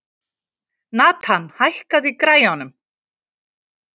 Nathan, hækkaðu í græjunum.